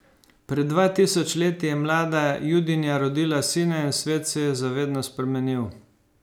Pred dva tisoč leti je mlada Judinja rodila sina in svet se je za vedno spremenil.